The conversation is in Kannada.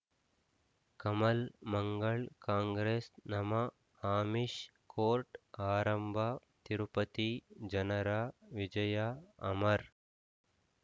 ಕಮಲ್ ಮಂಗಳ್ ಕಾಂಗ್ರೆಸ್ ನಮಃ ಆಮಿಷ್ ಕೋರ್ಟ್ ಆರಂಭ ತಿರುಪತಿ ಜನರ ವಿಜಯ ಅಮರ್